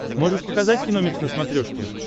можешь показать киномикс на смотрешке